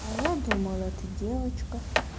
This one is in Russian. а я думала ты девочка